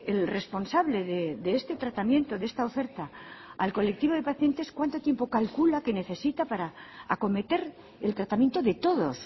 el responsable de este tratamiento de esta oferta al colectivo de pacientes cuánto tiempo calcula que necesita para acometer el tratamiento de todos